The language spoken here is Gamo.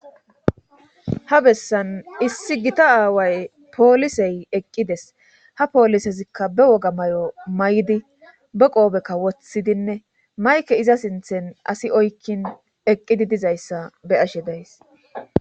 ha bessan issi gita aaway poolisey eqqides ha poolisezikka be woga may7o may7di be qoobekka woththidinne mayke iza sinthen asi oykkin eqqidi dizayssa be ashe days